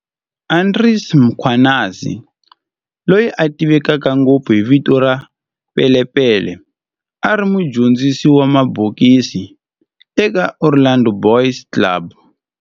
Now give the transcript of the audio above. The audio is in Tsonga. Andries Mkhwanazi, loyi a tiveka ngopfu hi vito ra Pele Pele, a ri mudyondzisi wa mabokisi eka Orlando Boys Club.